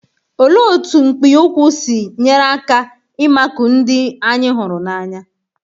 Olee otú mpi ụkwụ si nyere aka ịmakụ ndị anyị hụrụ n'anya?